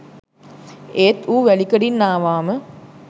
ඒත් ඌ වැලිකඩින් ආවාම